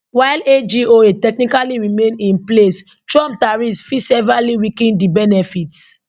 while agoa technically remain in place trump tariffs fit severely weaken di benefits